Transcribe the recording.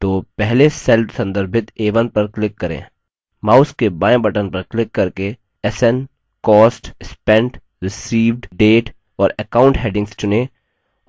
तो पहले cell संदर्भित a1 पर click करें mouse के बायें button पर click करके sn cost spent received date और account headings चुनें